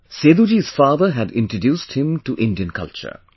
Seduji's father had introduced him to Indian culture